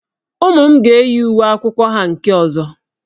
Ụmụ m ga-eyi uwe akwụkwọ ha nke ọzọ.